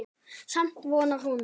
Samt vonar hún.